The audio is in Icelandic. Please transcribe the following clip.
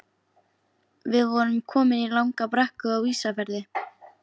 Við vorum komin í langa brekku Á Ísafirði.